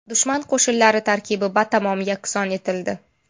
Dushman qo‘shinlari tarkibi batamom yakson etildi.